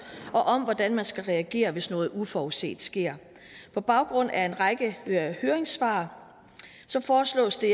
og om hvordan man skal reagere hvis noget uforudset sker på baggrund af en række høringssvar foreslås det